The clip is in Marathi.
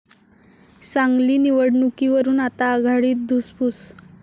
सांगली निवडणुकीवरून आता आघाडीत धुसफूस